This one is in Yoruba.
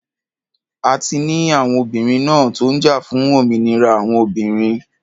A ti ní àwọn obìnrin ńá tó jà fún òmìnira àwọn obìnrin.